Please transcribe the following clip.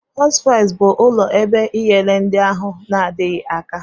Hospi bụ ụlọ ebe ịnyere ndị ahụ na-adịghi aka.